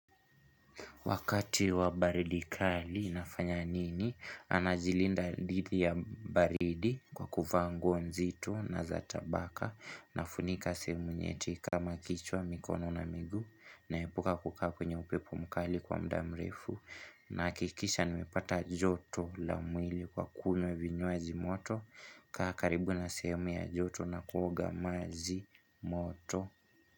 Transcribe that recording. Wakati wa baridi kali nafanya nini, najilinda dhidi ya baridi kwa kuvaa nguo nzito na za tabaka nafunika sehemu nyeti kama kichwa mikono na miguu naepuka kukaa kwenye upepo mkali kwa muda mrefu nahakikisha nimepata joto la mwili kwa kunywa vinywaji moto kukaa karibu na sehemu ya joto na kuoga maji moto.